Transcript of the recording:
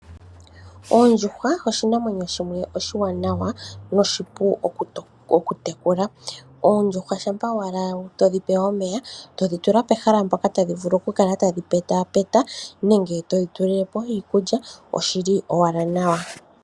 Oondjuhwa oshinamwenyo shimwe oshiwanawa no shipu oku tekula. Oondjuhwa shampa owala to dhi pe omeya, todhi tula pehala mpoka tadhi vulu oku kala tadhi peta peta nenge to dhi tulilepo iikulya oshili owala nawa.